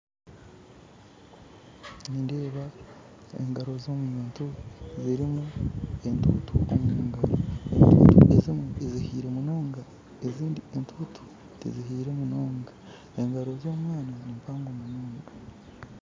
Nindeeba engaro z'omuntu zirimu entutu omungaro, ezimwe zihiire munonga ezindi entutu tizihiire munonga. Engaro z'omwaana nimpango munonga.